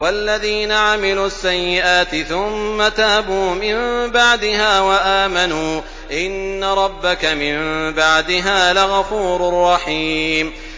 وَالَّذِينَ عَمِلُوا السَّيِّئَاتِ ثُمَّ تَابُوا مِن بَعْدِهَا وَآمَنُوا إِنَّ رَبَّكَ مِن بَعْدِهَا لَغَفُورٌ رَّحِيمٌ